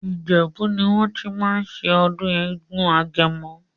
Ìjèbú ní wọ́n tí máa ń ṣe ọdún eégún agẹmọ.